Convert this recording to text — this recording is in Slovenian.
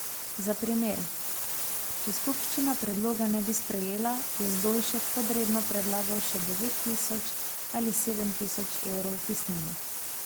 Za primer, če skupščina predloga ne bi sprejela, je Zdolšek podredno predlagal še devet tisoč ali sedem tisoč evrov vpisnine.